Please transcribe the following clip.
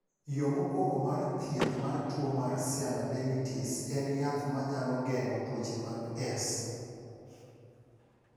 Yo mokwongo mar thieth mar tuo mar sialadenitis en yath ma nyalo geng’o tuoche mag S.